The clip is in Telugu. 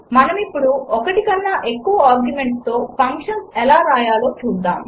మనమిప్పుడు ఒకటికన్నా ఎక్కువ ఆర్గ్యుమెంట్స్తో ఫంక్షన్స్ ఎలా వ్రాయాలో చూద్దాము